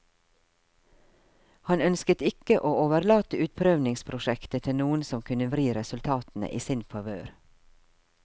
Han ønsket ikke å overlate utprøvningsprosjektet til noen som kunne vri resultatene i sin favør.